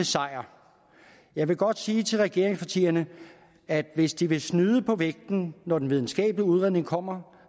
sejr jeg vil godt sige til regeringspartierne at hvis de vil snyde på vægten når den videnskabelige udredning kommer